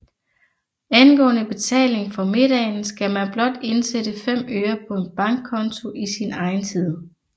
Angående betaling for middagen skal man blot indsætte 5 øre på en bankkonto i sin egen tid